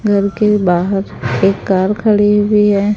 घर के बाहर एक कार खड़ी हुई है।